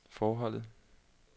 forholde